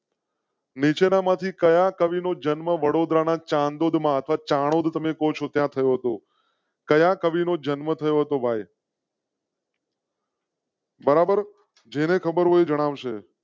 નીચે ના માંથી કયાં કવિ નો જન્મ વડોદરા ના ચાંદોદ માં ચાણોદ તમે કો છો ત્યાં થયો તો કવિ નો જન્મ થયો હતો ભાઈ. બરાબર જેને ખબર હોય જણાવ શે.